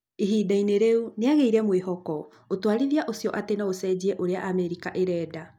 Ihinda inĩ rĩu nĩagĩire mwĩhoko ũtwarithia ũcio atĩ noũcenjie ũrĩa Amerika ĩrenda